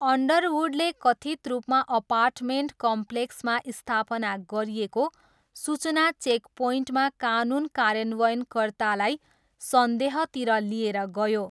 अन्डरवुडले कथित् रूपमा अपार्टमेन्ट कम्प्लेक्समा स्थापना गरिएको सूचना चेकपोइन्टमा कानुन कार्यान्वयनकर्तालाई सन्देहतिर लिएर गयो।